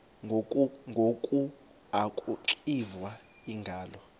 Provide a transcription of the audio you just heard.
ngoku akuxiva iingalo